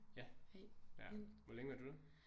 Ja ja hvor længe var du der?